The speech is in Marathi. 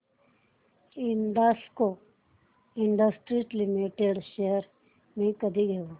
हिंदाल्को इंडस्ट्रीज लिमिटेड शेअर्स मी कधी घेऊ